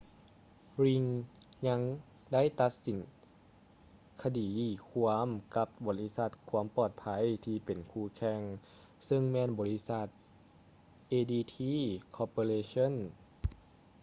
ຣີງ ring ຍັງໄດ້ຕັດສິນຄະດີຄວາມກັບບໍລິສັດຄວາມປອດໄພທີ່ເປັນຄູ່ແຂ່ງ ຊຶ່ງແມ່ນບໍລິສັດ adt corporation